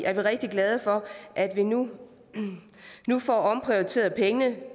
er vi rigtig glade for at vi nu nu får omprioriteret pengene